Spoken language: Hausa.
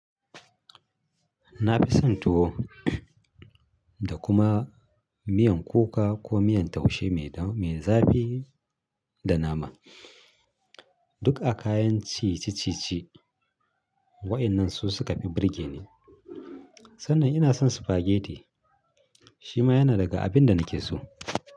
Na fi son tuwo da kuma miyan kuka ko miyan taushe mai zafi da nama. Duk akayan ci ciccice waƴannan su suka fi burge ni. Sannan ina son spaghetti shima yana daga abin da nake so.